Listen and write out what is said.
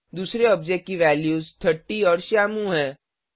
दूसरे ऑब्जेक्ट की वैल्यूज 30 और श्यामू हैं